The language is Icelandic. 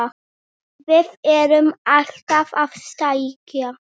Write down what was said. Við erum alltaf að stækka.